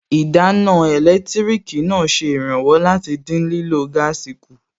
Ìdáná ẹlẹtíríkì náà ṣe ìrànwọ́ láti dín lílọ̀ gáàsì kù